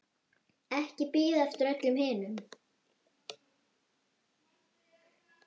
Ekki bíða eftir öllum hinum.